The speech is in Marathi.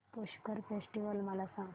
पुष्कर फेस्टिवल मला सांग